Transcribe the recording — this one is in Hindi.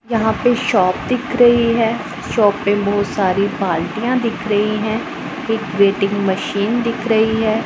यहां पे शॉप दिख रही है शॉप पे बहुत सारी बाल्टियां दिख रही है एक वेटिंग मशीन दिख रही है।